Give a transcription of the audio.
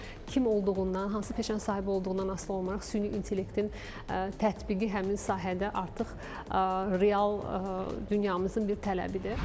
Kim olduğundan, hansı peşənin sahibi olduğundan asılı olmayaraq süni intellektin tətbiqi həmin sahədə artıq real dünyamızın bir tələbidir.